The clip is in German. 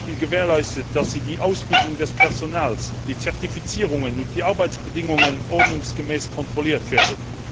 Ist zum Beispiel gewährleistet, dass die Ausbildung des Personals, die Zertifizierungen und Arbeitsbedingungen ordnungsgemäß kontrolliert werden?